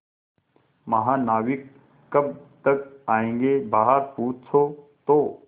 महानाविक कब तक आयेंगे बाहर पूछो तो